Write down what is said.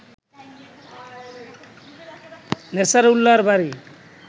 নেছারউল্লাহর বাড়ি